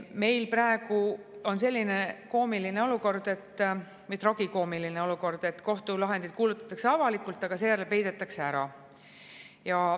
Meil praegu on selline tragikoomiline olukord, et kohtulahendid kuulutatakse avalikult, aga seejärel peidetakse ära.